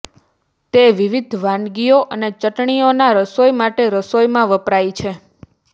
તે વિવિધ વાનગીઓ અને ચટણીઓના રસોઈ માટે રસોઈમાં વપરાય છે